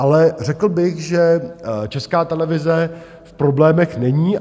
Ale řekl bych, že Česká televize v problémech není.